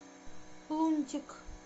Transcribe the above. лунтик